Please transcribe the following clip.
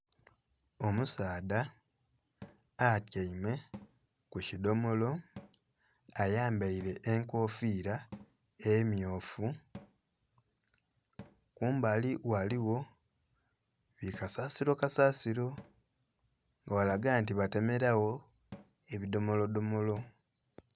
Omusaadha atyaime ku kidomolo ayambaile enkofiira emmyufu. Kumbali ghaligho, bikasasilo kasasilo. Ghalaga nti batemelagho ebidomolodomolo.